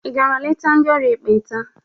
Ị gara leta ndị ọrịa ekpenta?